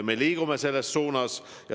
Me liigume selles suunas.